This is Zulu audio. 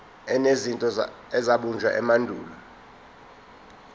enezinto ezabunjwa emandulo